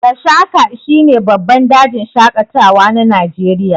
Gashaka shine babban dajin shaƙatawa na Najeriya.